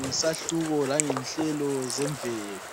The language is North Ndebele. ngesahluko langenhlelo zemvelo.